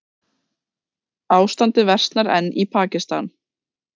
Ástandið versnar enn í Pakistan